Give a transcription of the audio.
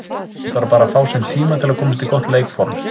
Hún þarf bara að fá sinn tíma til að komast í gott leikform.